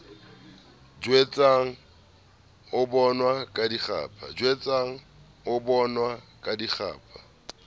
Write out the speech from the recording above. jwetswa o bonwa ka dikgapha